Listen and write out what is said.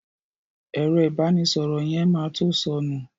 Ẹ̀rọ ìbánísọ̀rọ̀ yẹn ma to sọnù